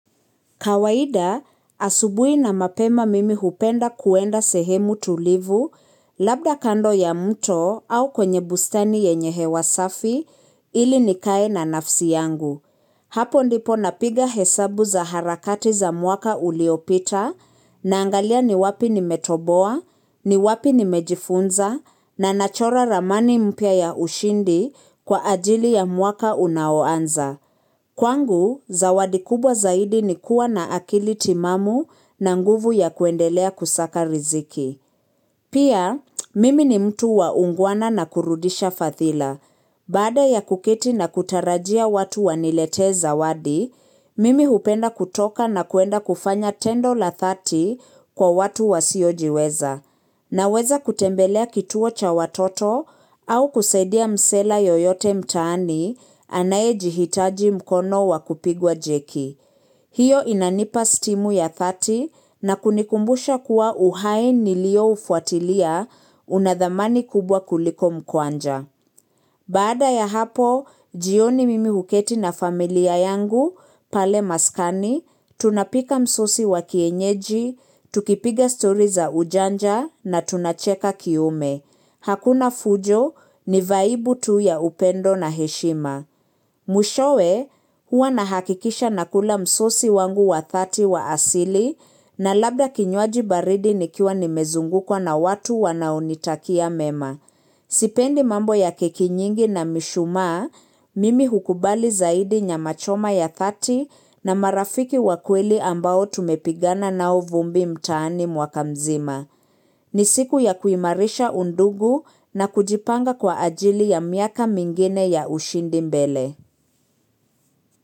Kawaida, asubui na mapema mimi hupenda kuenda sehemu tulivu labda kando ya mto au kwenye bustani yenye hewasafi ili nikae na nafsi yangu. Hapo ndipo napiga hesabu za harakati za mwaka uliopita na angalia ni wapi ni metoboa, ni wapi ni mejifunza na nachora ramani mpya ya ushindi kwa ajili ya mwaka unaoanza. Kwangu, zawadi kubwa zaidi ni kuwa na akili timamu na nguvu ya kuendelea kusaka riziki. Pia, mimi ni mtu waungwana na kurudisha fathila. Bada ya kukiti na kutarajia watu wanilete zawadi, mimi hupenda kutoka na kuenda kufanya tendo la thati kwa watu wasiojiweza. Na weza kutembelea kituo cha watoto au kusaidia msela yoyote mtaani anaye jihitaji mkono wakupigwa jeki. Hiyo inanipa stimu ya thati na kunikumbusha kuwa uhaini liyo ufuatilia unadhamani kubwa kuliko mkwanja. Baada ya hapo, jioni mimi huketi na familia yangu, pale maskani, tunapika msosi wa kienyeji, tukipiga story za ujanja na tunacheka kiume. Hakuna fujo ni vaibu tuu ya upendo na heshima. Mwishowe hua nahakikisha nakula msosi wangu wa thati wa asili na labda kinywaji baridi nikiwa nimezungu kwa na watu wanaonitakia mema. Sipendi mambo ya kikinyingi na mishuma, mimi hukubali zaidi nyamachoma ya thati na marafiki wakweli ambao tumepigana na uvumbi mtani mwakamzima. Ni siku ya kuimarisha undugu na kujipanga kwa ajili ya miaka mingine ya ushindi mbele.